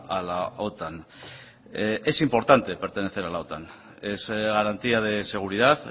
a la otan es importante pertenecer a la otan es garantía de seguridad